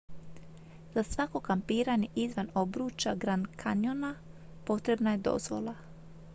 za svako kampiranje izvan obruča grand canyona potrebna je dozvola